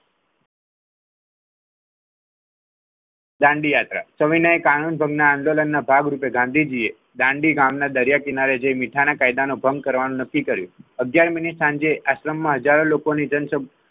ગાંધી યાત્રા સવિનાયક કાનૂન આંદોલનના ભાગરૂપે ગાંધીજીએ દાંડી ગામના દરિયા કિનારે જે મીઠાના કાયદાનો ભંગ કરવાનું નક્કી કર્યું અગિયાર મિનિટ સાંજે આશ્રમમાં હજારો લોકોની જનસંખ્યા,